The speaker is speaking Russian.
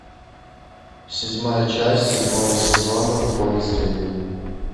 седьмая часть седьмого сезона в поле зрения